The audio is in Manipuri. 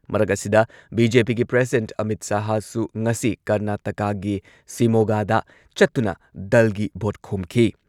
ꯃꯔꯛ ꯑꯁꯤꯗ, ꯕꯤ.ꯖꯦ.ꯄꯤꯒꯤ ꯄ꯭ꯔꯁꯤꯗꯦꯟꯠ ꯑꯃꯤꯠ ꯁꯍꯥꯍꯁꯨ ꯉꯁꯤ ꯀꯔꯅꯥꯇꯀꯥꯒꯤ ꯁꯤꯃꯣꯒꯥꯗ ꯆꯠꯇꯨꯅ ꯗꯜꯒꯤ ꯚꯣꯠ ꯈꯣꯝꯈꯤ꯫